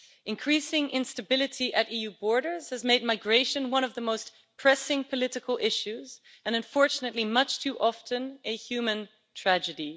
Increasing instability at EU borders has made migration one of the most pressing political issues and unfortunately, much too often, a human tragedy.